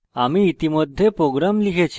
আমরা ইতিমধ্যে program লিখেছি